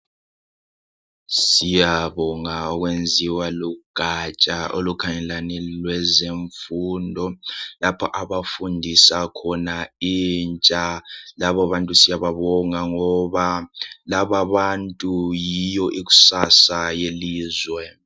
Siyabonga okwenziwa lugatsha olukhangelane lolwezemfundo lapho abafundisa khona intsha laba bantu siyababonga ngoba lababantu yiyo ikusasa yelizwe.